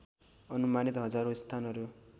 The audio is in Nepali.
अनुमानित हजारौँ स्थानहरू